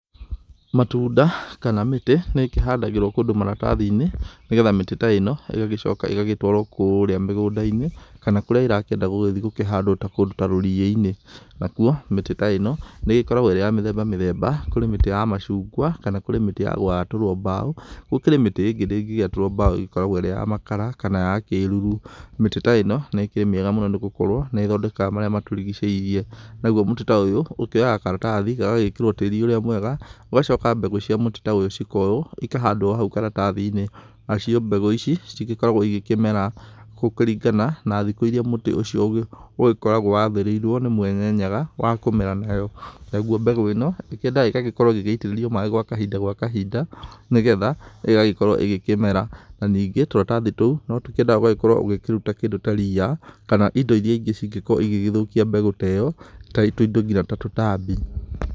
Matunda kana mĩtĩ nĩ ĩkĩhandagĩrwo kũndũ maratathi-inĩ, nĩgetha mĩtĩ ta ĩno ĩgagĩcoka ĩgacĩtwarwo kũrĩa mĩgũnda-inĩ, kana kũrĩa ĩrakĩenda gũgĩthĩ gũkĩhandwo ta kũndũ ta rũrĩ-inĩ. Nakuo mĩtĩ ta ĩno nĩ ĩgĩkoragwo ĩrĩ ya mĩthemba mĩthemba, kũrĩ mĩtĩ ya macungwa kana kũrĩ mĩtĩ ya gwatũrwo mbaũ, gũkĩrĩ mĩtĩ ĩngĩ ndĩngĩgĩatũrwo mbaũ ĩkoragwo ĩrĩ ya makara kana ya kĩruru. Mĩtĩ ta ĩno nĩ kĩrĩ mĩega mũno, nĩgũkorwo nĩ ĩthondekaga marĩa matũrigicĩirie. Naguo mũtĩ ta ũyũ ũkĩoyaga maratathi, gagagĩkĩrwo tĩri ũrĩa mwega ũgacoka mbegũ cia mũtĩ ta ũyũ cikoywo cikahandwo hau karatathi-inĩ, nacio mbegũ ici cigĩkoragwo ĩgĩkĩmera gũkĩringana na thikũ ĩria mũtĩ ũcio ũgĩkoragwo wathĩrĩirio nĩ mwene Nyaga wa kũmera nayo. Naguo mbegũ ĩno ĩkĩendaga ĩgakorwo ĩgĩitĩrĩrio maĩ gwa kahinda gwa kahinda, nĩgetha ĩgagĩkorwo ĩgĩkĩmera. Na ningĩ tũratathi tũu no tũkĩendaga ũgakorwo kũruta kĩndũ ta ria, kana indo irĩa ĩngĩ cingĩkorwo ĩgĩgĩthũkia mbegũ ta ĩyo, ta tũindo nginya ta tũtambi.